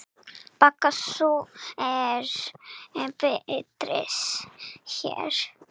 Baga sú er birtist hér.